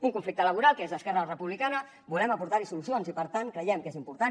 un conflicte laboral que des d’esquerra republicana volem aportar hi solucions i per tant creiem que és important